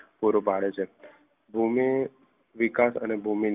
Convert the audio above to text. પૂરું પાડે છે ભૂમિ વિકાસ અને ભૂમિ